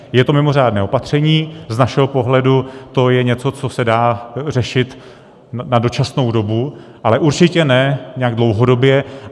Je to mimořádné opatření, z našeho pohledu to je něco, co se dá řešit na dočasnou dobu, ale určitě ne nějak dlouhodobě.